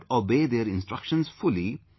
We would obey their instructions fully